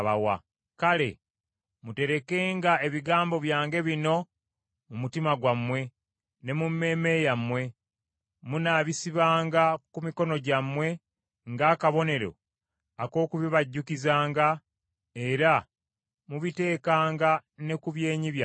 Kale muterekenga ebigambo byange bino mu mutima gwammwe ne mu mmeeme yammwe; munaabisibanga ku mikono gyammwe ng’akabonero ak’okubibajjukizanga, era mubitekanga ne ku byenyi byammwe.